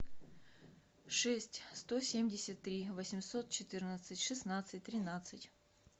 шесть сто семьдесят три восемьсот четырнадцать шестнадцать тринадцать